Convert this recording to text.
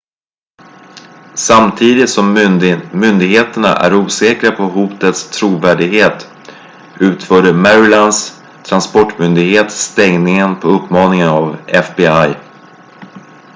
samtidigt som myndigheterna är osäkra på hotets trovärdighet utförde marylands transportmyndighet stängningen på uppmaning av fbi